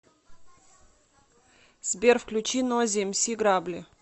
сбер включи нойз эмси грабли